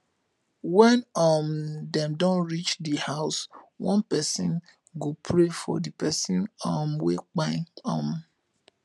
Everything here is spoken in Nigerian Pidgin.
wen um dem don rich di house one pesin go pray for di person um wey kpai um